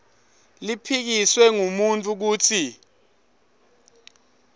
liphikiswe ngumuntfu kutsi